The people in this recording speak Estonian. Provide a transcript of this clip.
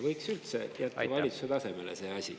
Võiks üldse jätta valitsuse tasemele see asi.